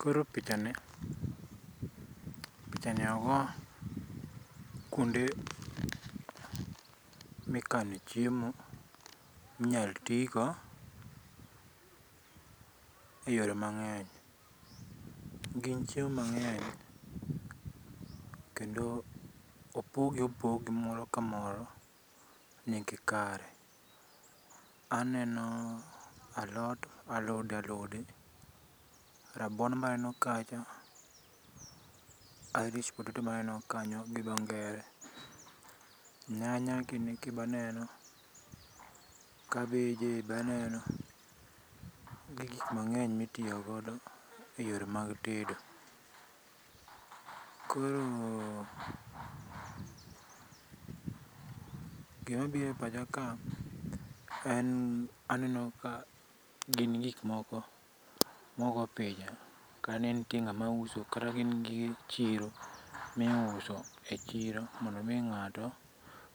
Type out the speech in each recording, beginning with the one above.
Koro pichani, pichani ogo kuonde mikane chiemo minyal tigo, eyore mangeny. gin chiemo mangeny, kendo opog gi opogi, moro ka moro. nigi kare, aneno alot, alode alode, rabuon be aneno kacha, irish potatoe be aneno kacha gi dho ngere, nyanya gini gi be aneno, kabeje be aneno, gi gik mangeny mitiyo godo eyore mag tedo. Koro gima biro e pacha ka en aneno ka gin gikmoko mogo picha kanentie ngama uso kata gin gige chiro mi uso e chiro mondo mi ngato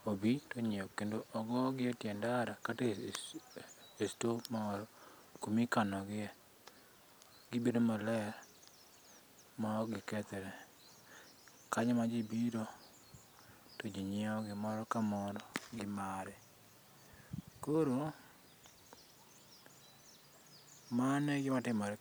obi to onyiew. Kendo ogogii e tie ndara kata e store moro kumi kano gie gibedo maler ma ok gikethre kanyo ema ji biro to nyiewo gie moro kamor gi mare. Mano e gima timore.